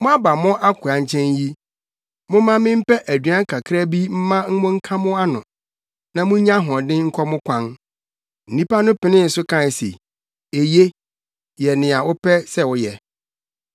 Moaba mo akoa nkyɛn yi, momma mempɛ aduan kakra bi mma monka mo ano, na munnya ahoɔden nkɔ mo kwan.” Nnipa no penee so kae se, “Eye, yɛ nea wopɛ sɛ woyɛ.”